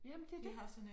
Jamen det det